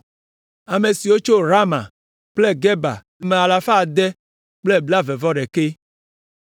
Ame siwo tso Rama kple Geba le ame alafa ade kple blaeve-vɔ-ɖekɛ (621).